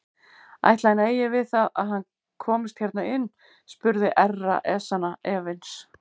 Ætli hann eigi við það að hann komist hérna inn spurði Herra Ezana efins.